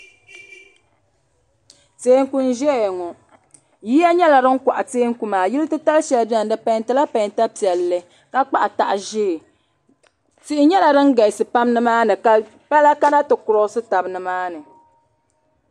Tɛɛku n zɛya ŋɔ yiya yɛla sin kɔɣi Tɛɛku maa yili titali shɛli bɛni di pɛntila pɛnta piɛli ka kpahi ƶɛɛ tihi yɛla din galisi pam ni maa ni ka pala kana ti kurɔsi taba ni maani.